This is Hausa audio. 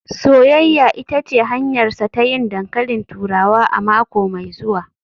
“Soyayya ita ce hanyarsa ta yin dankalin turawa a mako mai zuwa